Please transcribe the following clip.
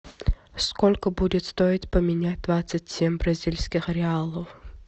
сколько будет стоить поменять двадцать семь бразильских реалов